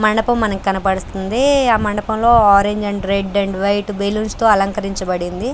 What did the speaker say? మండపం మనకు కనబడుతుంది ఆ మండపంలో orange and red and white balloons తో అలంకరించబడింది.